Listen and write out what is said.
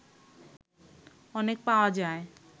অনেক পাওয়া যায়